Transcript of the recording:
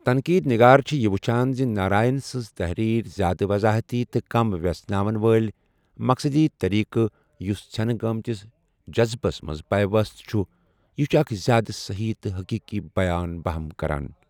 تنقیدنِگار چھِ یہِ وُچھان زِ ناراین سٕنز تحریر زیادٕ وضاحتی تہٕ کم ویژھناون وٲلۍ ، مقصدی طریقہٕ ، یُس ژھینہٕ گٲِتِس جزبس منز پیوست چھُ ، یہِ چھُ اکھ زیادٕ سہی تہٕ حقیقی بیان بہم کران ۔